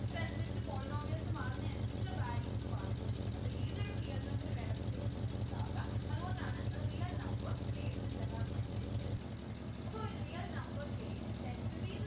ഇതനുസരിച്ചു polynomials മാറുന്നെ അനുസരിച്ച് values മാറിക്കൊണ്ടിരിക്കും അപ്പൊ ഏതൊരു real number വേണമെങ്കിലും നിങ്ങൾക്ക് ആക അതുകൊണ്ടാണ് a real number k എന്ന് general ആയിട്ട് എടുത്തിരിക്കുന്നെ അപ്പൊ real number k is said to be the